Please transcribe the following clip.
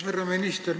Härra minister!